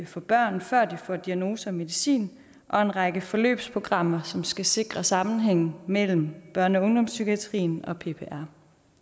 for børn før de får diagnoser og medicin og en række forløbsprogrammer som skal sikre sammenhængen mellem børne og ungdomspsykiatrien og ppr